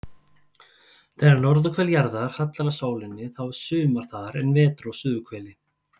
Þegar norðurhvel jarðar hallar að sólinni þá er sumar þar en vetur á suðurhveli.